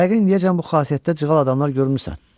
Yəqin indiyəcən bu xasiyyətdə cığal adamlar görmüsən.